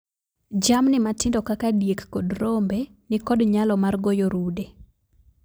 Jamni matindo kaka diek kod rombe nikod nyalo mar goyo rude.